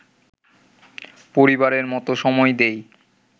পরিবারের মতো সময় দেই